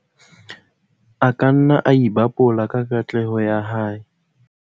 a ka nna a ipabola ka katleho ya hae